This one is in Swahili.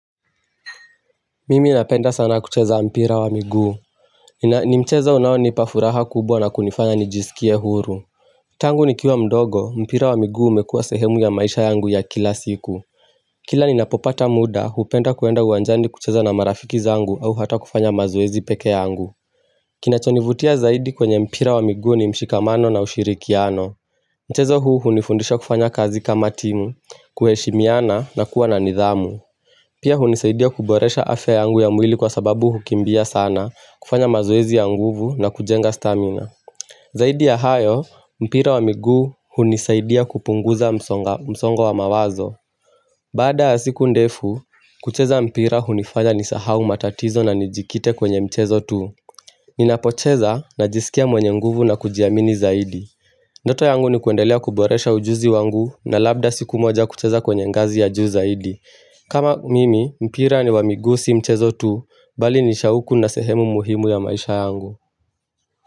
Mimi napenda sana kucheza mpira wa miguu ina ni mchezo unao nipafuraha kubwa na kunifanya nijisikie huru Tangu nikiwa mdogo, mpira wa miguu umekua sehemu ya maisha yangu ya kila siku Kila ninapopata muda, hupenda kuenda uwanjani kucheza na marafiki zangu au hata kufanya mazoezi peke yangu Kinachonivutia zaidi kwenye mpira wa miguu ni mshikamano na ushirikiano Mchezo huu hunifundisha kufanya kazi kama timu, kuheshimiana na kuwa na nidhamu Pia hunisaidia kuboresha afya yangu ya mwili kwa sababu hukimbia sana, kufanya mazoezi ya nguvu na kujenga stamina Zaidi ya hayo, mpira wa miguu hunisaidia kupunguza msongo wa mawazo Baada ya siku ndefu, kucheza mpira hunifanya nisahau matatizo na nijikite kwenye mchezo tu Ninapocheza na jisikia mwenye nguvu na kujiamini zaidi Ndoto yangu ni kuendelea kuboresha ujuzi wangu na labda siku moja kucheza kwenye ngazi ya juu zaidi kama mimi, mpira ni wa miguu si mchezo tu, bali nishauku na sehemu muhimu ya maisha yangu.